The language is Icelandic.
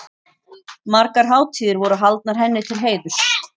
Margar hátíðir voru haldnar henni til heiðurs.